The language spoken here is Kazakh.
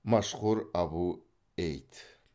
машхур абу эйд